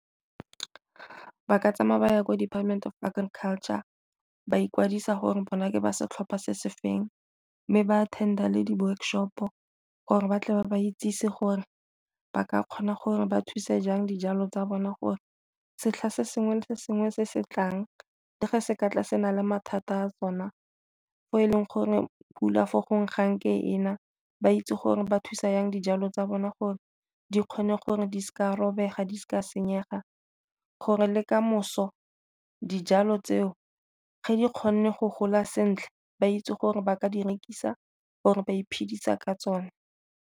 Ba ka tsamaya ba ya kwa Department of Art and Culture ba ikwadisa gore bona ke ba setlhopha se se feng, mme ba attend-a le di-workshop-o gore batle ba ba itsise gore ba ka kgona gore ba thuse jang dijalo tsa bona gore setlha se sengwe le sengwe se se tlang le fa se ka tla se na le mathata a sona fo e leng gore pula fo gongwe ga nke ena, ba itse gore ba thusa jang dijalo tsa bona gore di kgone gore di seka robega, di seka senyega gore le kamoso dijalo tseo ga di kgonne go gola sentle ba itse gore ba ka di rekisa gore ba iphedisa ka tsone.